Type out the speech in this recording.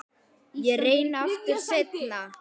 Ég reyni aftur seinna